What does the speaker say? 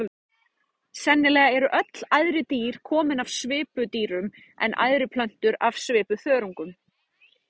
Sennilega eru öll æðri dýr komin af svipudýrum en æðri plöntur af svipuþörungum.